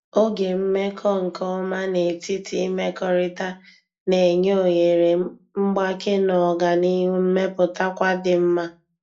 Oge mmekọ nke ọma n'etiti imekọrịta na-enye ohere mgbake na oganihu mmepụtakwa di nma.